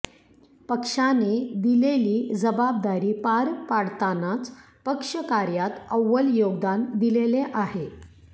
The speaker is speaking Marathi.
पक्षाने दिलेली जबाबदारी पार पाडतानाच पक्ष कार्यात अव्वल योगदान दिलेले आहे